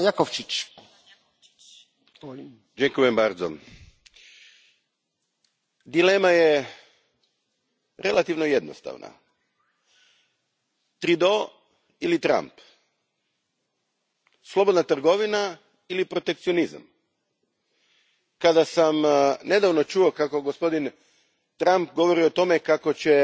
Gospodine predsjedniče, dilema je relativno jednostavna Trudeau ili Trump, slobodna trgovina ili protekcionizam? Kada sam nedavno čuo kako gospodin Trump govori o tome kako će